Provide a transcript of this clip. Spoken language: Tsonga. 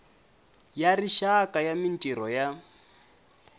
ya rixaka ya mintirho ya